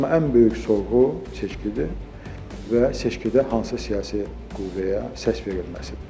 Amma ən böyük sorğu seçkidir və seçkidə hansı siyasi qüvvəyə səs verilməsidir.